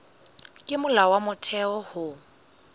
ke molao wa motheo ho